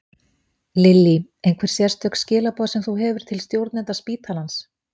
Lillý: Einhver sérstök skilaboð sem þú hefur til stjórnenda spítalans?